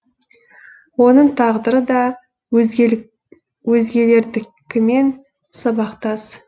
оның тағдыры да өзгелердікімен сабақтас